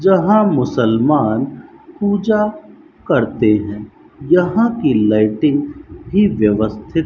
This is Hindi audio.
जहां मुसलमान पूजा करते हैं यहां की लाइटिंग भी व्यवस्थित --